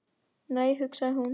Nei, hugsaði hún.